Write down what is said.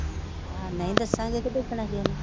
ਹਾਂ ਨਹੀਂ ਦੱਸਾਂਗੇ ਤੇ ਕਿਉਂ ਨਹੀਂ